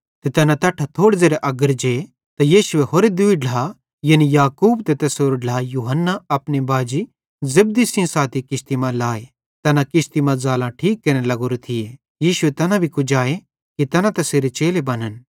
ते तैना तैट्ठां थोड़े ज़ेरे अग्गर जे त यीशुए होरे दूई ढ्ला यानी याकूब त कने तैसेरो ढ्ला यूहन्ना अपने बाजी जब्दी सेइं साथी किश्ती मां लाए तैना किश्ती मां ज़ालां ठीक केरने लग्गोरे थिये तैनी तैना भी कुजाए कि तैना तैसेरे चेले बनन्